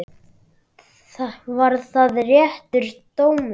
Var það réttur dómur?